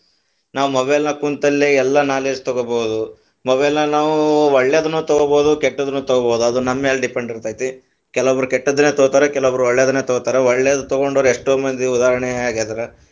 ನಾವ mobile ದಾಗ ಕುಂತಲ್ಲೆ ಎಲ್ಲಾ knowledge ತಗೋಬಹುದು, mobile ನ ನಾವು ಒಳ್ಳೆದುನ್ನು ತಗೋಬಹುದು, ಕೆಟ್ಟದನ್ನು ತಗೋಬಹುದು ಅದ ನಮ್ಮ ಮ್ಯಾಲೆ depend ಇರತೈತಿ, ಕೆಲವೊಬ್ಬರು ಕೆಟ್ಟದನ್ನ ತಗೋತಾರ, ಕೆಲವೊಬ್ಬರು ಒಳ್ಳೆದನ್ನ ತಗೋತಾರ ಒಳ್ಳೆದನ್ನ ತಗೊಂಡೋರು ಎಷ್ಟೋ ಮಂದಿ ಉದಾಹರಣೆಯಾಗಿದರ.